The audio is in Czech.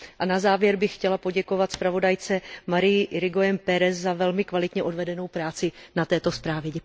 Na závěr bych chtěla poděkovat zpravodajce Maríi Irigoyenové Pérezové za velmi kvalitně odvedenou práci na této zprávě.